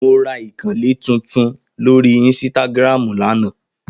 Mo ra ìkànnlé titun lánàá lórí ínsítágírámú lánàá.